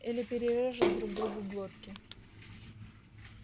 или перережут друг другу глотки